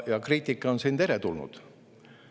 Ja kriitika on siin teretulnud.